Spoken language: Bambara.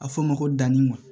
A fɔ o ma ko danni wa